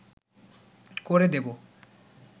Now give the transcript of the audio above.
করে দেব